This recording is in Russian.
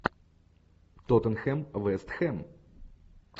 тоттенхэм вест хэм